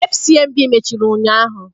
Fcmb mechiri ụnyahụ.